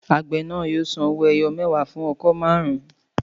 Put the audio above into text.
Àgbẹ̀ náà yóò san owó ẹyọ mẹwa fún ọkọ́ marun-un